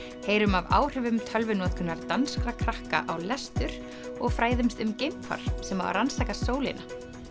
heyrum af áhrifum tölvunotkunar danskra krakka á lestur og fræðumst um geimfar sem á að rannsaka sólina